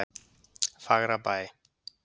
Fagrabæ